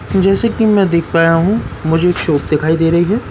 जैसे की मैं देख पाया हूं मुझे एक शॉप दिखाई दे रही हैं।